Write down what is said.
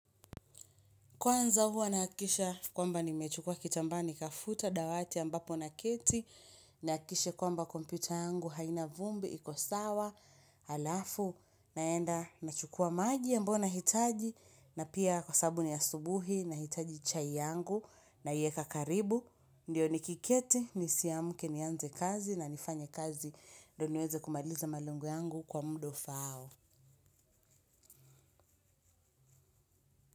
Kwanza, huwa nahakisha kwamba ni mechukua kitambaa nikafuta dawati ambapo naketi. Nakishe kwamba kompyuta yangu haina vumbi, iko sawa, alafu. Naenda, nachukua maji ambao nahitaji. Na pia, kwa sabu ni asubuhi, nahitaji chai yangu. Naieka karibu, ndio nikiketi, nisiamke, nianze kazi na nifanye kazi. Doniweze kumaliza malengo yangu kwa muda ufaao.